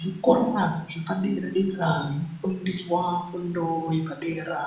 Zvikora zvepadera-dera zvinofundiswa fundo yepadera